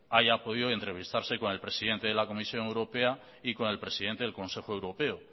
haya podido entrevistarse con el presidente de la comisión europea y con el presidente del consejo europeo